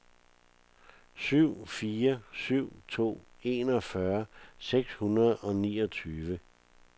syv fire syv to enogfyrre seks hundrede og niogtyve